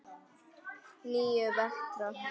Níu vetra.